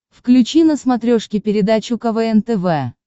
включи на смотрешке передачу квн тв